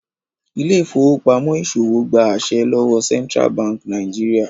Ile-ifowopamọ ìṣòwò gbà àse lówó Central Bank Nigeria.